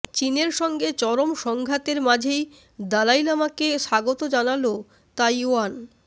চীনের সঙ্গে চরম সংঘাতের মাঝেই দালাইলামা কে স্বাগত জানালো তাইওয়ান